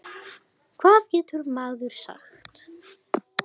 Hvað getur maður sagt?